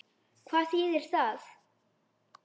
Hvað þýðir það?